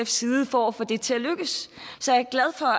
side for at få det til at lykkes så jeg